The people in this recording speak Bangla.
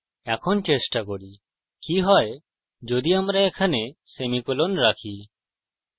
এখন চেষ্টা করি কি হয় যদি আমরা এখানে সেমিকোলন রাখি